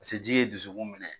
Paseke ji ye dusukun minɛ.